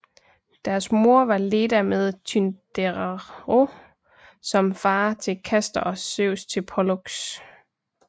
Deres moder var Leda med Tyndareos som fader til Castor og Zeus til Pollux